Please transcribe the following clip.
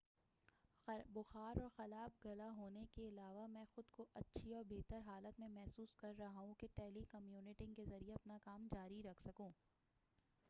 بُخار اور خراب گلا ہونے کے علاوہ مَیں خُود کو اچھی اور بہتر حالت میں محسوس کررہا ہوں کہ ٹیلی کمیوٹنگ کے ذریعے اپنا کام جاری رکھ سکوں